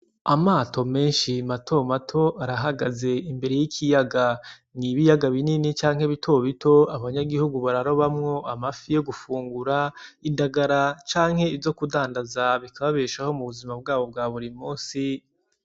Amato meshi mato mato arahagaze imbere y'ikiyaga n'ibiyaga binini canke bito bito abanyagihugu bararobamwo amafi y'ogufungura, indagara canke izo k'udandaza bikababeshaho mubuzima bwabo bwa buri munsi.